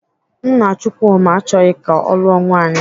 Nna Chukwuma achọghị ka ọ lụọ nwaanyị.